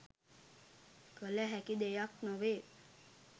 කළ හැකි දෙයක් නොවේ